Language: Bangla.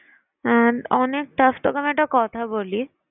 আহ অনেক tough তোকে আমি একটা কথা বলি?